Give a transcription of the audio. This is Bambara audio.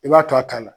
I b'a to a ta la